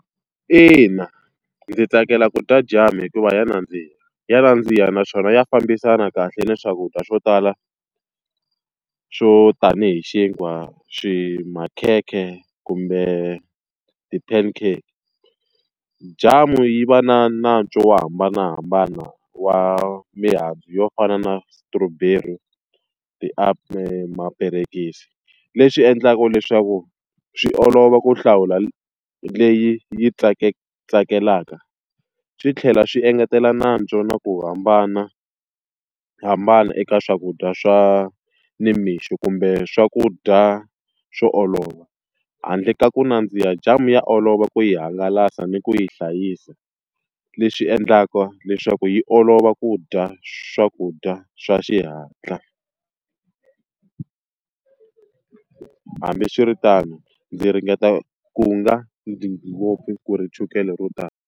Ina ndzi tsakela ku dya jamu hikuva ya nandziha. Ya nandziha naswona ya fambisana kahle ni swakudya swo tala swo tanihi xinkwa, makhekhe, kumbe ti-pancake. Jamu yi va na nantswo wo hambanahambana wa mihandzu yo fana na strawberry, , mapencisi, leswi endlaka leswaku swi olova ku hlawula leyi yi tsakelaka. Swi tlhela swi engetela nantswo na ku hambanahambana eka swakudya swa nimixo kumbe swakudya swo olova. Handle ka ku nandziha jamu ya olova ku yi hangalasa ni ku yi hlayisa, leswi endlaka leswaku yi olova ku dya swakudya swa xihatla. Hambiswiritano ndzi ringeta ku nga dyi ngopfu ku ri chukele ro tala.